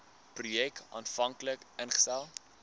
projek aanvanklik ingestel